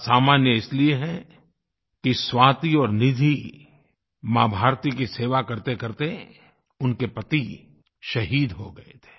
असामान्य इसलिए हैं कि स्वाति और निधि माँभारती की सेवा करतेकरते उनके पति शहीद हो गए थे